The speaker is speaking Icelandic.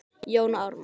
Jón Ármann